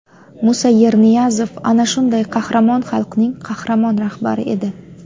Musa Yerniyazov ana shunday qahramon xalqning qahramon rahbari edi.